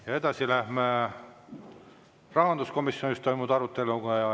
Ja edasi lähme rahanduskomisjonis toimunud aruteluga.